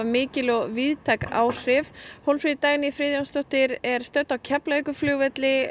mikil og víðtæk áhrif Hólmfríður Dagný Friðjónsdóttir er á Keflavíkurflugvelli